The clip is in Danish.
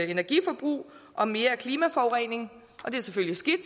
energiforbrug og mere klimaforurening og det er selvfølgelig skidt